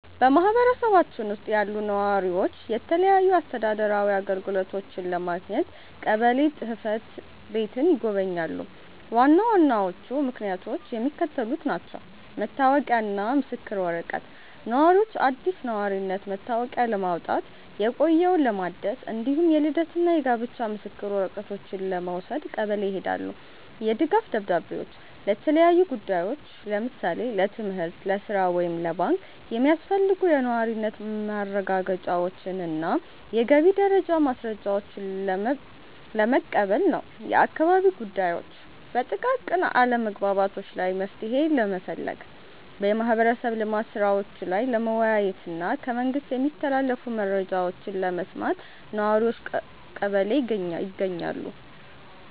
በማኅበረሰባችን ውስጥ ያሉ ነዋሪዎች የተለያዩ አስተዳደራዊ አገልግሎቶችን ለማግኘት ቀበሌ ጽሕፈት ቤትን ይጎበኛሉ። ዋና ዋናዎቹ ምክንያቶች የሚከተሉት ናቸው፦ መታወቂያና ምስክር ወረቀት፦ ነዋሪዎች አዲስ የነዋሪነት መታወቂያ ለማውጣት፣ የቆየውን ለማደስ፣ እንዲሁም የልደትና የጋብቻ ምስክር ወረቀቶችን ለመውሰድ ቀበሌ ይሄዳሉ። የድጋፍ ደብዳቤዎች፦ ለተለያዩ ጉዳዮች (ለምሳሌ ለትምህርት፣ ለሥራ ወይም ለባንክ) የሚያስፈልጉ የነዋሪነት ማረጋገጫዎችንና የገቢ ደረጃ ማስረጃዎችን ለመቀበል ነው። የአካባቢ ጉዳዮች፦ በጥቃቅን አለመግባባቶች ላይ መፍትሔ ለመፈለግ፣ በማኅበረሰብ ልማት ሥራዎች ላይ ለመወያየትና ከመንግሥት የሚተላለፉ መረጃዎችን ለመስማት ነዋሪዎች ቀበሌ ይገኛሉ።